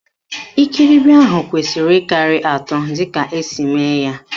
Ikiribi ahụ kwesiri ịkarị atọ dịka esi eme ya.